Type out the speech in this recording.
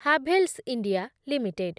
Havells India limited